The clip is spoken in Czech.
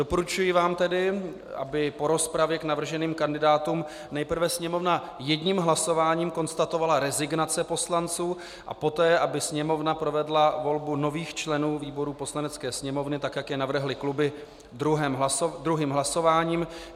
Doporučuji vám tedy, aby po rozpravě k navrženým kandidátům nejprve Sněmovna jedním hlasováním konstatovala rezignace poslanců a poté aby Sněmovna provedla volbu nových členů výborů Poslanecké sněmovny, tak jak je navrhly kluby, druhým hlasováním.